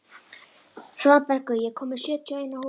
Svanbergur, ég kom með sjötíu og eina húfur!